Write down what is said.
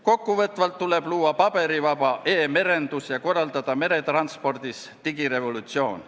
Kokkuvõtvalt öeldes tuleb luua paberivaba e-merendus ja korraldada meretranspordis digirevolutsioon.